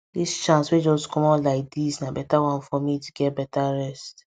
this chance wey just comot like this na better one for me to get better rest